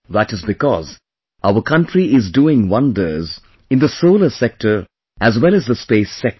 That is because our country is doing wonders in the solar sector as well as the space sector